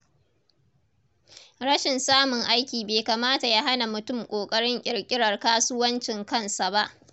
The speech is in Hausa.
Rashin samun aiki bai kamata ya hana mutum kokarin ƙirƙirar kasuwancin kansa ba.